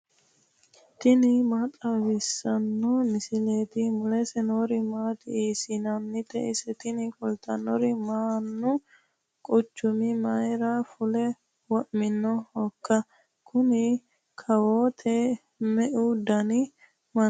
tini maa xawissanno misileeti ? mulese noori maati ? hiissinannite ise ? tini kultannori mannu quchuma mayra fule wo'minohoika kuni kawoote me'u dani mannaati